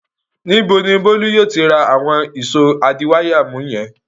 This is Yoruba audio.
Níbo ni Bólú yóò ti rà àwọn ìṣó adiwáyàmú wọ̀nyẹn?